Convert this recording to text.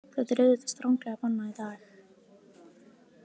Þetta er auðvitað stranglega bannað í dag.